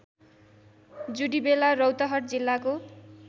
जुडिबेला रौतहट जिल्लाको